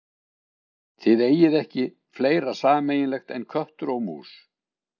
Þið eigið ekki fleira sameiginlegt en köttur og mús.